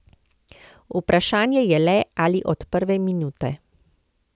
Vprašanje je le, ali od prve minute.